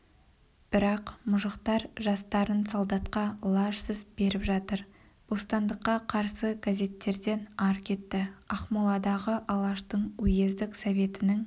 бірақ мұжықтар жастарын солдатқа лажсыз беріп жатыр бостандыққа қарсы газеттерден ар кетті ақмоладағы алаштың уездік советінің